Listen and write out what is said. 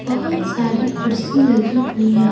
बहुत सारी कुर्सी लगी हुई याह--